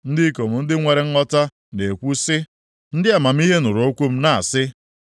“Ndị ikom ndị nwere nghọta na-ekwu si, ndị amamihe nụrụ okwu m na-asị m,